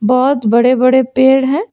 बहोत बड़े बड़े पेड़ हैं।